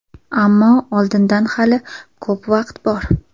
Ammo oldinda hali ko‘p vaqt bor.